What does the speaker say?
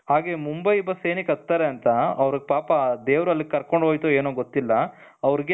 ಹಾಗೆ ಮುಂಬೈ ಬಸ್ ಏನಕ್ಕೆ ಹತ್ತುತ್ತಾರೆ ಅಂತ ಅವರಿಗೆ ಪಾಪ ದೇವರು ಅಲ್ಲಿಗೆ ಕರ್ಕೊಂಡು ಹೋಯ್ತು ಏನೋ ಗೊತ್ತಿಲ್ಲ ಅವರಿಗೆ